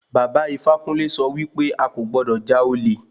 Bàba Ifákúnle sọ wí pé a kò gbọdọ̀ já olè.